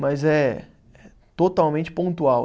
Mas é, é totalmente pontual.